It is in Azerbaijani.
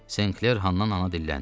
St. Kler həndən ana dilləndi.